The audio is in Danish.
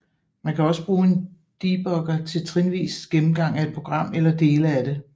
Man kan også bruge en debugger til trinvis gennemgang af et program eller dele af det